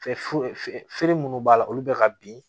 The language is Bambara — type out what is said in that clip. Fɛ feere minnu b'a la olu bɛ ka bin